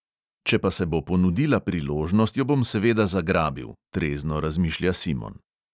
Če pa se bo ponudila priložnost, jo bom seveda zagrabil, trezno razmišlja simon.